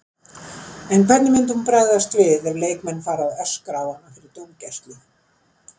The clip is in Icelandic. En hvernig myndi hún bregðast við ef leikmenn fara að öskra á hana fyrir dómgæslu?